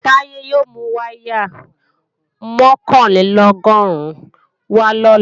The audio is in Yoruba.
Táyé yóò mú wáyà mọ̀kànlélọ́gọ́rùn wá lọ́la